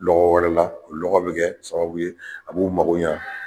Lɔgɔ wɛrɛ la o lɔgɔ bɛ kɛ sababu ye a b'u mago ɲa.